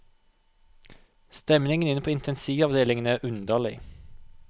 Stemningen inne på intensivavdelingen er underlig.